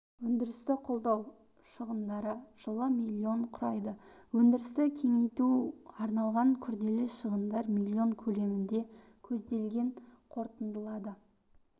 өндірісті қолдау шығындары жылы миллион құрайды өндірісті кеңейтуге арналған күрделі шығындар миллион көлемінде көзделген қорытындылады